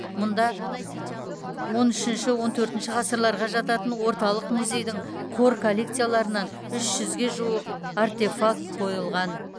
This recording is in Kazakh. мұнда он үшінші он төртінші ғасырларға жататын орталық музейдің қор коллекцияларынан үш жүзге жуық артефакт қойылған